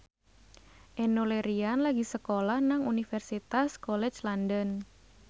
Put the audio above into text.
Enno Lerian lagi sekolah nang Universitas College London